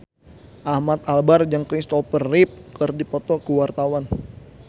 Ahmad Albar jeung Kristopher Reeve keur dipoto ku wartawan